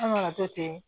An kana to ten